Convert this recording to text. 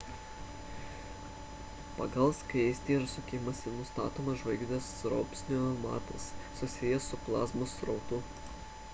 pagal skaistį ir sukimąsi nustatomas žvaigždės rosbio matas susijęs su plazmos srautu